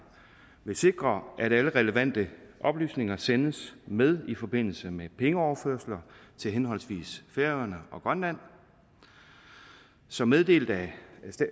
vil sikre at alle relevante oplysninger sendes med i forbindelse med pengeoverførsler til henholdsvis færøerne og grønland som meddelt af